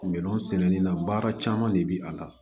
Minɛn sɛnɛni na baara caman de bɛ a la